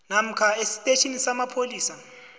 namkha esitetjhini samapholisa